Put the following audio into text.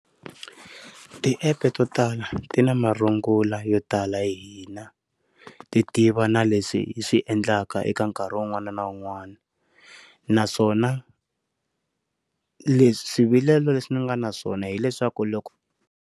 Ti app to tala ti na marungula yo tala hi hina ti tiva na leswi swiendlaka eka nkarhi un'wana na un'wana naswona leswi swivilelo leswi ndzi nga naswona hileswaku loko.